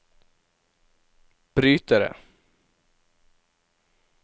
brytere